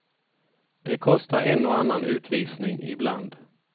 Det kostar en och annan utvisning ibland.